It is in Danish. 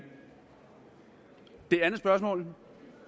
spørgsmål